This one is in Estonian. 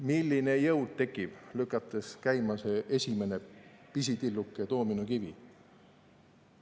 Milline jõud tekib, kui lükatakse käima see esimene pisitilluke doominokivi!